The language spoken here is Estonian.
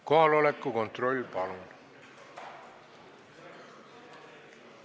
Kohaloleku kontroll, palun!